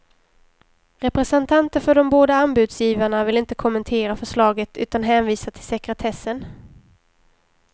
Representanter för de båda anbudsgivarna vill inte kommentera förslaget utan hänvisar till sekretessen.